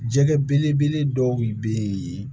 Jɛgɛ belebele dɔw bɛ yen